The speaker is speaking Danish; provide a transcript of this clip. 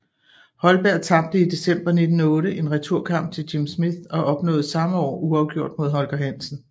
Holberg tabte i december 1908 en returkamp til Jim Smith og opnåede samme år uafgjort mod Holger Hansen